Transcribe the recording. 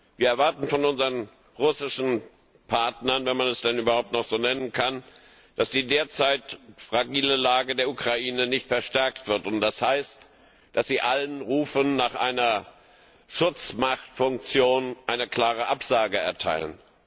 Wir erwarten von unseren russischen Partnern, wenn man Sie denn überhaupt noch so nennen kann, dass die derzeit fragile Lage der Ukraine nicht verstärkt wird, und das heißt, dass sie allen Rufen nach einer Schutzmachtfunktion eine klare Absage erteilen.